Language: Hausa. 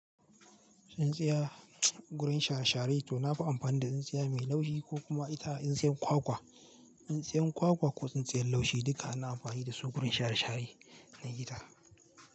Tsin tsaya gurin share-share to na fi amfani da tsintsiya mai laushi ko kuma ita in tsintsiyan kwakwa. Tsintsiyan kwakwa ko tsintsiyar laushi duka ana amfani dasu gurin share-share na gida.